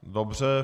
Dobře.